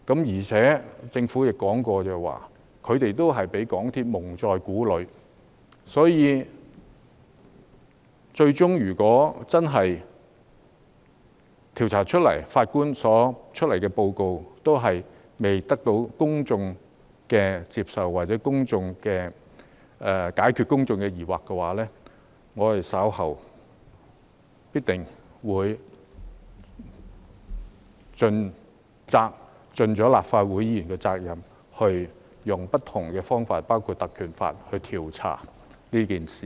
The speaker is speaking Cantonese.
而且政府亦說過，它也是被港鐵公司蒙在鼓裏，所以，最終如果經過調查，調查委員會的報告亦未得到公眾接受或未能解決公眾的疑慮，我們稍後必定會履行立法會議員的責任，運用不同的方法，包括引用《條例》來調查此事。